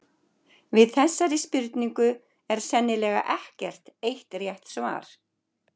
Við þessari spurningu er sennilega ekkert eitt rétt svar.